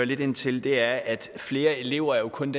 lidt ind til er at flere elever jo kun